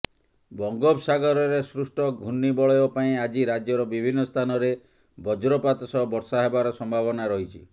ବଙ୍ଗୋପସାଗରରେ ସୃଷ୍ଟ ଘୂର୍ଣ୍ଣିବଳୟ ପାଇଁ ଆଜି ରାଜ୍ୟର ବିଭିନ୍ନ ସ୍ଥାନରେ ବଜ୍ରପାତ ସହ ବର୍ଷା ହେବାର ସମ୍ଭାବନା ରହିଛି